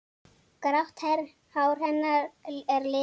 Grátt hár hennar er liðað.